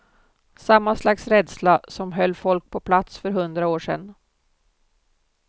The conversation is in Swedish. Samma slags rädsla som höll folk på plats för hundra år sedan.